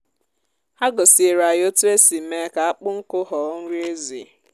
ha gosiere anyị otu esi mee ka akpụ nkụ ghọọ nri ezì.